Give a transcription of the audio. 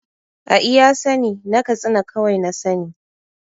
A iya sa ni na katsina kawai na sa ni